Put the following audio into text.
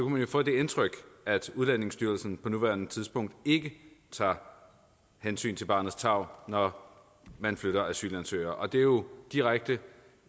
man få det indtryk at udlændingestyrelsen på nuværende tidspunkt ikke tager hensyn til barnets tarv når man flytter asylansøgere og det er jo direkte